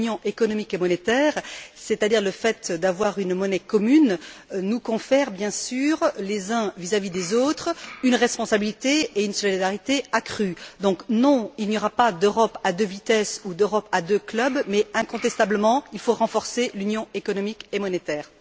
L'Union économique et monétaire, c'est à dire le fait d'avoir une monnaie commune, nous confère bien sûr, les uns vis à vis des autres, une responsabilité et une solidarité accrues. Donc, non, il n'y aura pas d'Europe à deux vitesses ou d'Europe à deux clubs, mais il faut incontestablement renforcer l'Union économique et monétaire.